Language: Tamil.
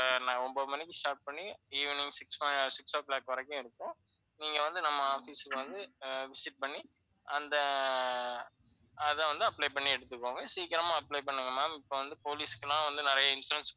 ஒன்பது மணிக்கு start பண்ணி, evening six, six o'clock வரைக்கும் இருக்கும். நீங்க வந்து நம்ம office க்கு வந்து visit பண்ணி, அந்த அத வந்து apply பண்ணி எடுத்துக்கோங்க. சீக்கிரமா apply பண்ணுங்க ma'am. இப்ப வந்து போலீஸ்